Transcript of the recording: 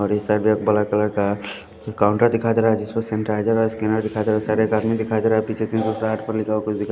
और इस साइड में ब्लैक कलर का काउंटर दिखाई दे रहा है जिसपे सैनिटाइजर और स्कैनर दिखाई दे रहा है उस साइड एक आदमी दिखाई दे रहा है पीछे तीन सौ साठ पर लिखा हुआ कुछ दिखाई--